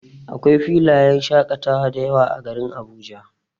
Akwai filayen shaƙatawa dayawa a garin Abuja.